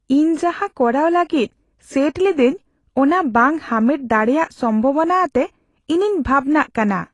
ᱤᱧ ᱡᱟᱦᱟᱸ ᱠᱚᱨᱟᱣ ᱞᱟᱹᱜᱤᱫ ᱥᱮᱴ ᱞᱤᱫᱟᱹᱧ ᱚᱱᱟ ᱵᱟᱝ ᱦᱟᱢᱮᱴ ᱫᱟᱲᱮᱭᱟᱜ ᱥᱚᱢᱵᱷᱚᱵᱚᱱᱟ ᱟᱛᱮ ᱤᱧᱤᱧ ᱵᱷᱟᱵᱽᱱᱟᱜ ᱠᱟᱱᱟ ᱾